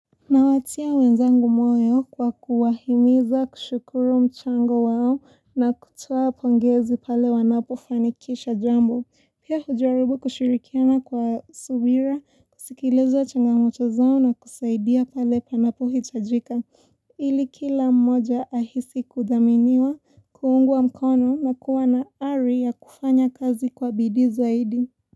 Nawatia wenzangu moyo kwa kuwahimiza kushukuru mchango wao na kutoa pongezi pale wanapofanikisha jambo. Pia hujaribu kushirikiana kwa subira, kusikiliza changamoto zao na kusaidia pale panapohitajika. Ili kila mmoja ahisi kudhaminiwa, kuungwa mkono na kuwa na ari ya kufanya kazi kwa bidii zaidi.